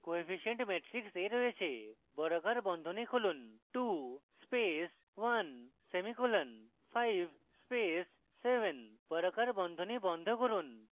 coefficient matrix a রয়েছে বর্গাকার বন্ধনী খুলুন 2 space 1 সেমিকোলন 5 space 7 বর্গাকার বন্ধনী বন্ধ করুন